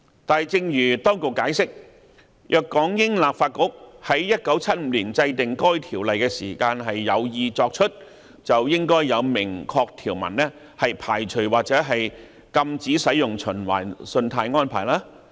但正如當局解釋，若港英立法局在1975年制定該條例時有意作此限制，應該有明確條文排除或禁止使用循環信貸安排。